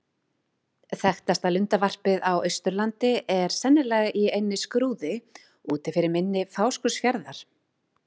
Þekktasta lundavarpið á Austurlandi er sennilega í eynni Skrúði úti fyrir mynni Fáskrúðsfjarðar.